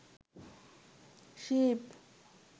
Shiva